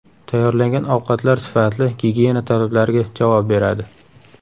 Tayyorlangan ovqatlar sifatli, gigiyena talablariga javob beradi.